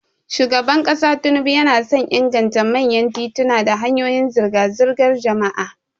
Shugaban kasa Tinubu yana son inganta manyan tituna da hanyoyin zirga-zirgar jama'a.